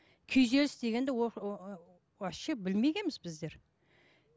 күйзеліс дегенді вообще білмегенбіз біздер